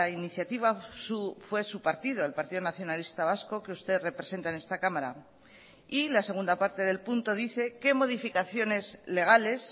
iniciativa fue su partido el partido nacionalista vasco que usted representa en esta cámara y la segunda parte del punto dice qué modificaciones legales